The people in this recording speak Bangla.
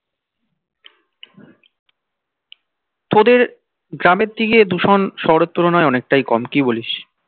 তোদের গ্রামের দিকে দূষণ শহরের তুলনায় অনেকটাই কম কি বলিস